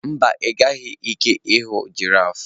mba, ị nweghị ike ịhụ giraffes.